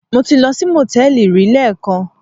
Mo ti lọ sí Mòtẹ́lì rí lẹ́ẹ̀kan.